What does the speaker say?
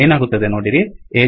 ಏನಾಗುತ್ತದೆ ನೋಡಿರಿ